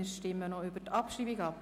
Wir stimmen über die Abschreibung ab.